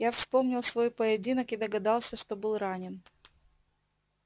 я вспомнил свой поединок и догадался что был ранен